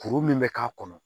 Kuru min bɛ k'a kɔnɔ